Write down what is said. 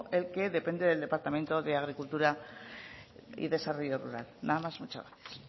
el que depende del departamento de agricultura y desarrollo rural nada más y muchas gracias